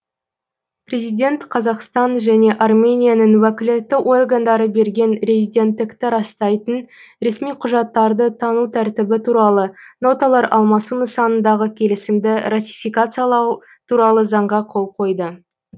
президент қазақстан және арменияның уәкілетті органдары берген резиденттікті растайтын ресми құжаттарды тану тәртібі туралы ноталар алмасу нысанындағы келісімді ратификациялау туралы заңға қол қойды